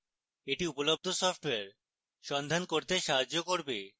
এটি উপলব্ধ সফ্টওয়্যার সন্ধান করতে সাহায্য করবে